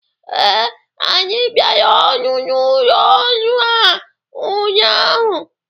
Ee, anyị bịara ọrụ n'ụlọ ọrụ a ụnyaahụ.